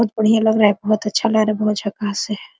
बहुत बढ़िया लग रहा है बहुत अच्छा लग रहा है बहुत झाकस है।